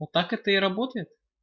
вот так это и работает